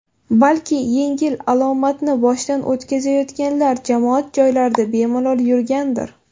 Balki, yengil alomatni boshdan o‘tkazayotganlar jamoat joylarida bemalol yurgandir.